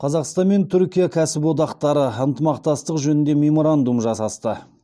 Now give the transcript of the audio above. қазақстан мен түркия кәсіподақтары ынтымақтастық жөнінде меморандум жасасты